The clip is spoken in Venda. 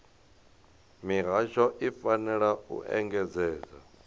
mihasho i fanela u engedzedza